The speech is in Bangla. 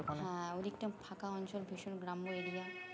হ্যাঁ ওই দিক টা ফাঁকা অঞ্চল তুষের গ্রাম্য area